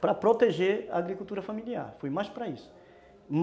para proteger a agricultura familiar, foi mais para isso.